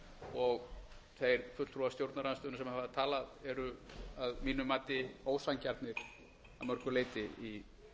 og þeir fulltrúar stjórnarandstöðunnar sem hafa talað eru að mínu mati ósanngjarnir að mörgu leyti í